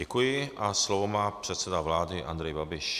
Děkuji a slovo má předseda vlády Andrej Babiš.